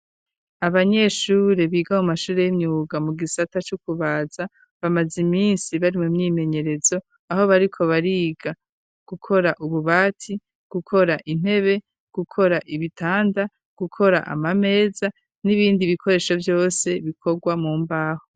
Abanyeshure biga mu mashuri yimyuga mu gisata co kubaza bamaze iminsi bari mu myimenyerezo aho bariko bariga gukora ububati, gukora intebe, gukora ibitanda, gukora ama meza n'ibindi bikoresho vyose bikorwa mu mbaho.